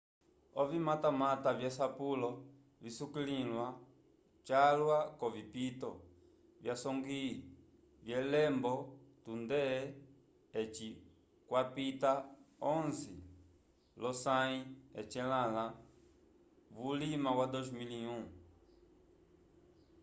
ovimatamata vyesapulo visukiliwa calwa k'ovipito vyasongwi vyelombe tunde eci kwapita 11 lyosãyi lyecelãla vulima wa 2001